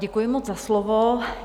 Děkuji moc za slovo.